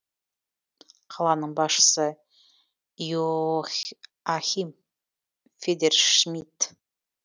қаланың басшысы йохахим федершмидт